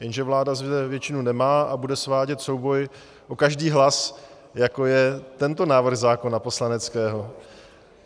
Jenže vláda zde většinu nemá a bude svádět souboj o každý hlas, jako je tento návrh zákona poslaneckého.